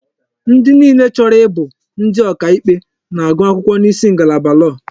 Ndi niile chọrọ ịbụ ndi ọkà ikpe na-agụ akwụkwọ n'isi ngalaba lọọ.